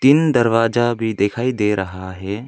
तीन दरवाजा भी दिखाई दे रहा है।